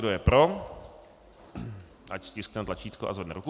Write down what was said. Kdo je pro, ať stiskne tlačítko a zvedne ruku.